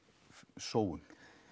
sóun